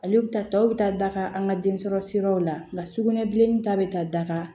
Ale bɛ taa tɔw bɛ taa daga an ka den sɔrɔ siraw la nka sugunɛ bilennin ta bɛ taa daga